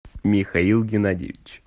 михаил геннадьевич